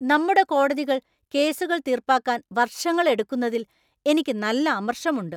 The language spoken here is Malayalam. നമ്മുടെ കോടതികൾ കേസുകൾ തീർപ്പാക്കാൻ വർഷങ്ങളെടുക്കുന്നതിൽ എനിക്ക് നല്ല അമർഷമുണ്ട്.